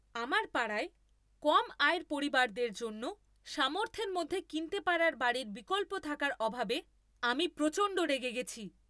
আমার পাড়ায় কম আয়ের পরিবারদের জন্য সামর্থ্যের মধ্যে কিনতে পারার বাড়ির বিকল্প থাকার অভাবে আমি প্রচণ্ড রেগে গেছি।